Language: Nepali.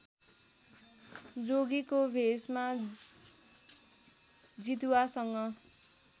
जोगीको भेषमा जितुवासँग